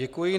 Děkuji.